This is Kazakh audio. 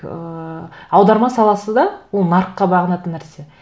ыыы аударма саласы да ол нарыққа бағынатын нәрсе